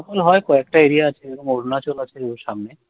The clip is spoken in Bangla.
snowfall হয়। কয়েকটা area আছে অরুনাচল আছে ওর সামনে।